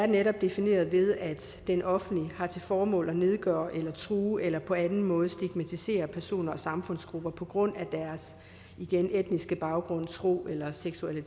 netop er defineret ved at den offentligt har til formål at nedgøre eller true eller på anden måde stigmatisere personer og samfundsgrupper på grund af deres igen etniske baggrund tro eller seksuelle